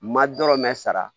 Ma dɔrɔmɛ sara